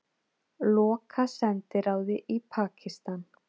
Loka sendiráði í Pakistan